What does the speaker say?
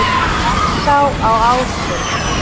Laxá á Ásum